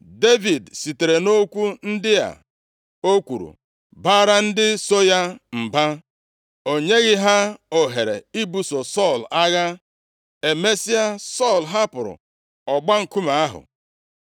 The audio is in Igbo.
Devid sitere nʼokwu ndị a o kwuru baara ndị so ya mba. O nyeghị ha ohere ibuso Sọl agha. Emesịa, Sọl hapụrụ ọgba nkume ahụ.